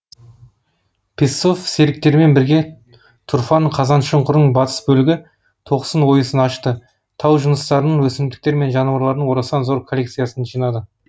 певцов серіктерімен бірге тұрфан қазаншұңқырының батыс бөлігі тоқсын ойысын ашты тау жыныстарының өсімдіктер мен жануарлардың орасан зор коллекциясын жинады